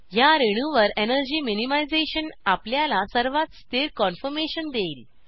ह्या रेणूवर energy minimisation आपल्याला सर्वात स्थिर कान्फॉर्मेशन देईल